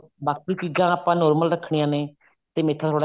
ਬਾਕੀ ਚੀਜ਼ਾਂ ਆਪਾਂ normal ਰੱਖਣੀਆਂ ਨੇ ਤੇ ਮੇਥਾ ਥੋੜਾ